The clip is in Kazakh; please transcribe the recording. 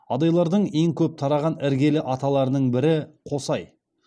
адайлардың ең көп тараған іргелі аталарының бірі қосай